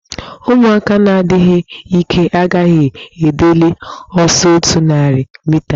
Ụmụaka na-adịghị ike agaghị edili ọsọ otu narị mita.